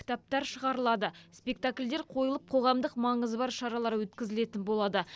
кітаптар шығарылады спектакльдер қойылып қоғамдық маңызы бар шаралар өткізілетін болады